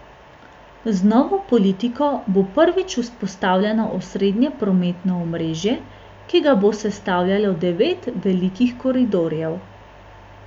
Z novo politiko bo prvič vzpostavljeno osrednje prometno omrežje, ki ga bo sestavljalo devet velikih koridorjev.